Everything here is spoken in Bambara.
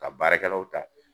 Ka baarakɛlaw ta.